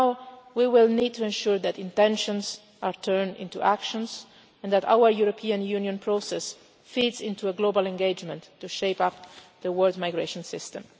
Now we will need to ensure that intentions are turned into actions, and that our European Union process feeds into a global engagement to shape up the world's migration system.